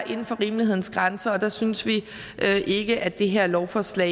inden for rimelighedens grænser og der synes vi ikke at det her lovforslag